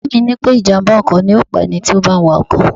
Bàbá mi sọ pé ìjàm̀bá ọkọ̀ ni yóò pa ẹni tí ó bá ń wa ọkọ̀